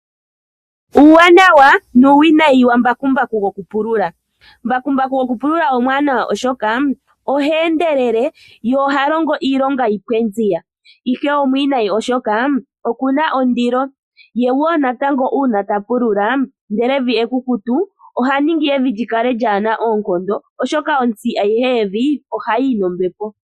Uuwanawa nuuwinayi wa mbakumbaku gokupulula. Mbakumbaku gokupulula omuwanawa, oshoka oha endelele ye oha longo iilonga yi pwe nziya, ihe omuwinayi oshoka oku na ondilo. Uuna ta pulula ndele evi ekukuta oha ningi evi li kale kaa li na oonkondo, oshoka onzi ayihe yevi ohayi yi nombepo.